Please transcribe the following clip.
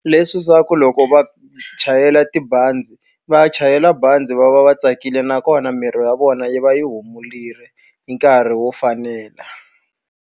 Leswi swa ku loko va chayela tibazi, va ya chayela bazi va va va tsakile nakona miri ya vona yi va yi hi nkarhi wo fanela.